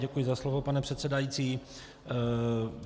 Děkuji za slovo, pane předsedající.